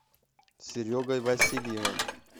серегой васильевым